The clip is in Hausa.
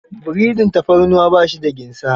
Breading tafarnuwa ba shi da ginsa.